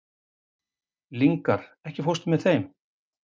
Lyngar, ekki fórstu með þeim?